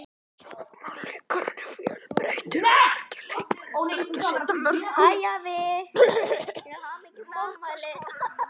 Sóknarleikurinn er fjölbreyttur og margir leikmenn leggja sitt að mörkum í markaskorun.